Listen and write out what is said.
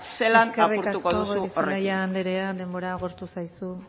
zelan apurtuko duzu horrekin eskerrik asko goirizelaia andrea denbora agortu zaizu